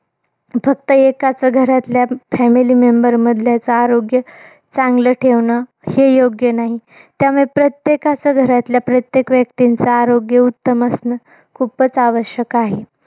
फक्त एकाच घरातल्या family member मधल्याच आरोग्य चांगलं ठेवणं, हे योग्य नाही. त्यामुळे प्रत्येकाच घरातल्या, प्रत्येक व्यक्तीचं आरोग्य उत्तम असणं खूपच आवश्यक आहे.